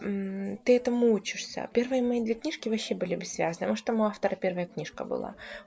ты этому учишься первые мои две книжки вообще были бессвязны может там у автора первая книжка была